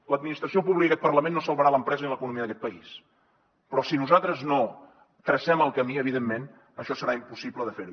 l’administració pública i aquest parlament no salvaran l’empresa ni l’economia d’aquest país però si nosaltres no tracem el camí evidentment això serà impossible de fer ho